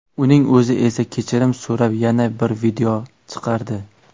Uning o‘zi esa kechirim so‘rab yana bir video chiqardi .